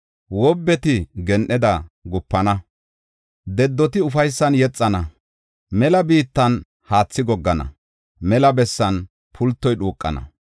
Wobbeti gen7eda gupana; dedoti ufaysan yexana; mela biittan haathi goggana; mela bessan pultoy dhuuqana.